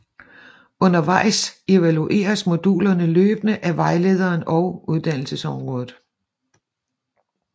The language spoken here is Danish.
Undervejs evalueres modulerne løbende af vejlederen og uddannelsesrådet